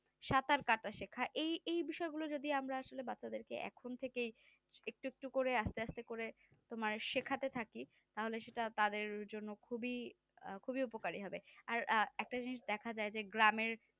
সাঁতার কাটা শেখা এই এই বিষয় গুলো গুলি আমরা আসলে বাচ্চাদের এখন থেকে একটু একটু করে আস্তে আস্তে করে আমার শেখাতে থাকি তাদের জন্য খুবই উপকারী হবে আর একটা জিনিস দেখা যায় যে গ্রামে